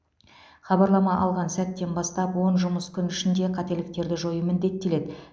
хабарлама алған сәттен бастап он жұмыс күн ішінде қателіктерді жою міндеттеледі